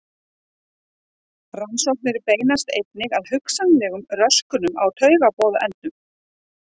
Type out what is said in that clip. Rannsóknir beinast einnig að hugsanlegum röskunum á taugaboðefnum.